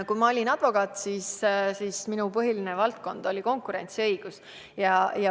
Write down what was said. Kui ma olin advokaat, siis oli minu põhiline valdkond konkurentsiõigus.